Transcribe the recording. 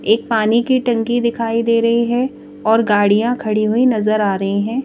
एक पानी की टंकी दिखाई दे रही है और गाड़ियां खड़ी हुई नजर आ रही हैं।